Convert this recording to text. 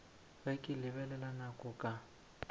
ge ke lebelela nako ka